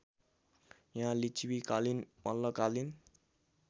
यहाँ लिच्छविकालीन मल्लकालीन